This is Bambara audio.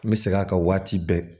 N bɛ segin a kan waati bɛɛ